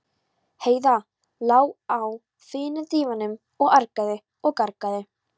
Heiða lá á fína dívaninum og argaði og gargaði.